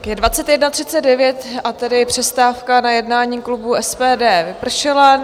Je 21.39, a tedy přestávka na jednání klubu SPD vypršela.